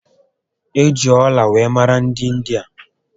E ji ọla were mara dị India